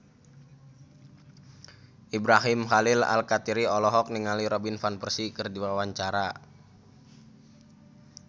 Ibrahim Khalil Alkatiri olohok ningali Robin Van Persie keur diwawancara